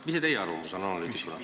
Mis on teie arvamus?